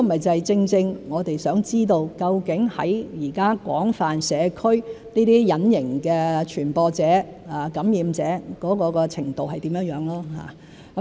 這正是我們想知道的——究竟現在廣泛社區，這些隱形的傳播者、感染者的程度是怎樣。